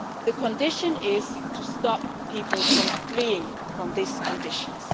The condition is to stop people from fleeing from these conditions.